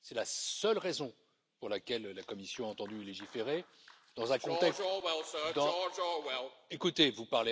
C'est la seule raison pour laquelle la Commission a entendu légiférer dans un contexte Écoutez, vous